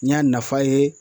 N y'a nafa ye